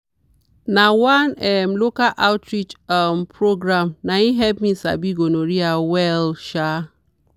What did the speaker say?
na one um local outreach um program naim help me sabi gonorrhea well. um